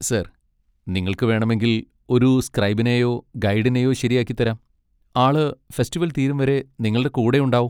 Sir, നിങ്ങൾക്ക് വേണമെങ്കിൽ ഒരു സ്ക്രൈബിനെയോ ഗൈഡിനെയോ ശരിയാക്കി തരാം, ആള് ഫെസ്റ്റിവൽ തീരുംവരെ നിങ്ങളുടെ കൂടെ ഉണ്ടാകും.